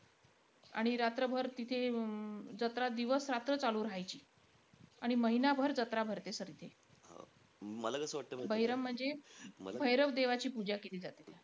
आणि रात्रभर तिथे अं जत्रा दिवसरात्र चालू राहायची. आणि महिनाभर जत्रा भरते sir इथे. बहिरम म्हणजे भैरव देवाची पूजा केली जाते.